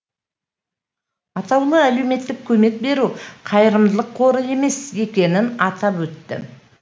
атаулы әлеуметтік көмек беру қайырымдылық қоры емес екенін атап өтті